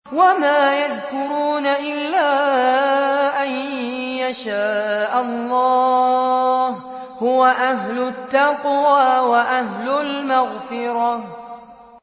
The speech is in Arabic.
وَمَا يَذْكُرُونَ إِلَّا أَن يَشَاءَ اللَّهُ ۚ هُوَ أَهْلُ التَّقْوَىٰ وَأَهْلُ الْمَغْفِرَةِ